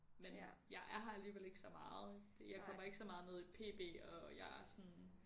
Men jeg er her alligevel ikke så meget jeg kommer ikke så meget ned i pb og jeg er sådan